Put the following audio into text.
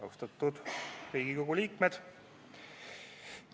Austatud Riigikogu liikmed!